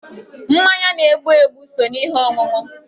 Mmanya na-egbu egbu so n'ihe ọṅụṅụ